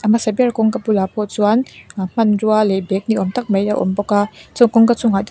a hmasa ber kawngka bulah pawh chuan ah hmanrua leh bag ni awm tak te awm bawk a chuan kawngka chungah--